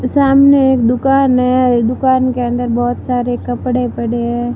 सामने में एक दुकान है। दुकान के अंदर बहोत सारे कपड़े पड़े हैं।